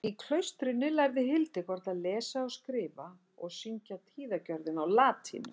Í klaustrinu lærði Hildegard að lesa og skrifa og syngja tíðagjörðina á latínu.